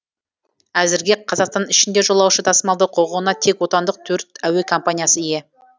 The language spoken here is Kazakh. әзірге қазақстан ішінде жолаушы тасымалдау құқығына тек отандық төрт әуе компаниясы ие